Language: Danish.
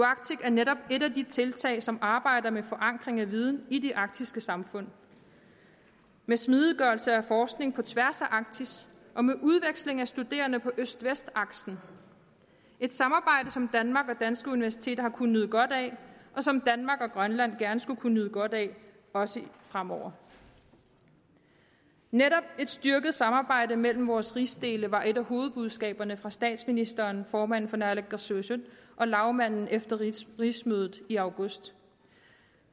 arctic er netop et af de tiltag som arbejder med forankring af viden i de arktiske samfund med smidiggørelse af forskning på tværs af arktis og med udveksling af studerende på øst vest aksen et samarbejde som danmark og danske universiteter har kunnet nyde godt af og som danmark og grønland gerne skulle kunne nyde godt af også fremover netop et styrket samarbejde mellem vores rigsdele var et af hovedbudskaberne fra statsministeren formanden for naalakkersuisut og lagmanden efter rigsmødet i august